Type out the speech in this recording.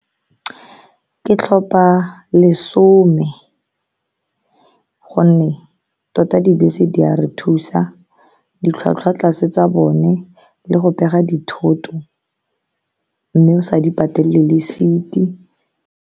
Ke tlhopa lesome ka gonne tota, dibese di a re thusa, ditlhwatlhwa tlase tsa bone, le go pega dithoto mme o sa di patele le seat-i.